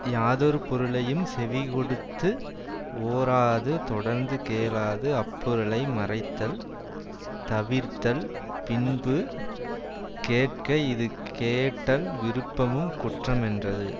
யாதொரு பொருளையும் செவிகொடுத்து ஓராது தொடர்ந்து கேளாது அப்பொருளை மறைத்தல் தவிர்ந்தல் பின்பு கேட்க இது கேட்டல் விருப்பமும் குற்ற மென்றது